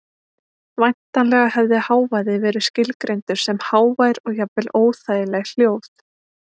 Væntanlega hefði hávaði verið skilgreindur sem hávær og jafnvel óþægileg hljóð.